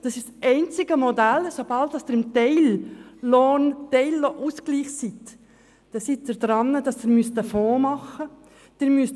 Das ist das einzige Modell, bei welchem sobald ein Teilausgleich stattfindet, ein Fonds eingerichtet werden muss.